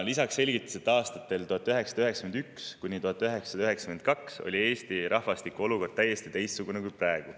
Lisaks selgitas ta, et aastatel 1991–1992 oli Eesti rahvastiku olukord täiesti teistsugune kui praegu.